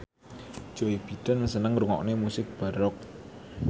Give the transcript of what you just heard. Joe Biden seneng ngrungokne musik baroque